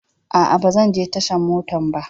A'a, ba zan je tashan mota ba.